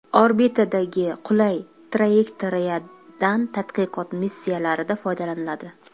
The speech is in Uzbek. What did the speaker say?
Orbitadagi qulay trayektoriyadan tadqiqot missiyalarida foydalaniladi.